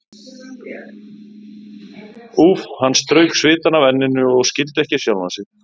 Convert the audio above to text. Úff, hann strauk svitann af enninu og skildi ekki sjálfan sig.